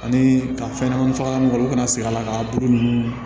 Ani ka fɛn ɲɛnamani fagalan mun kɛ olu kana segin a la k'a puruke